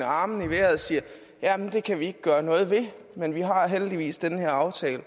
armene i vejret og siger jamen det kan vi ikke gøre noget ved men vi har heldigvis den her aftale